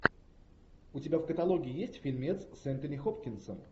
у тебя в каталоге есть фильмец с энтони хопкинсом